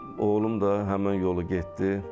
Oğlum da həmin yolu getdi.